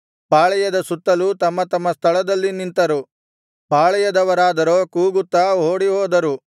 ಪಾಳೆಯದ ಸುತ್ತಲೂ ತಮ್ಮ ತಮ್ಮ ಸ್ಥಳದಲ್ಲಿ ನಿಂತರು ಪಾಳೆಯದವರಾದರೋ ಕೂಗುತ್ತಾ ಓಡಿಹೋದರು